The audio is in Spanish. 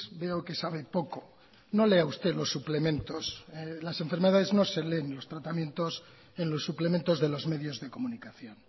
veo que sabe poco no lea usted los suplementos las enfermedades no se leen y los tratamientos en los suplementos de los medios de comunicación